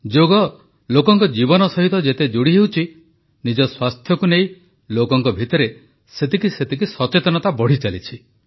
ଯୋଗ ଲୋକଙ୍କ ଜୀବନ ସହିତ ଯେତେ ଯୋଡ଼ି ହେଉଛି ନିଜ ସ୍ୱାସ୍ଥ୍ୟକୁ ନେଇ ଲୋକଙ୍କ ଭିତରେ ସେତିକି ସଚେତନତା ବଢ଼ିଚାଲିଛି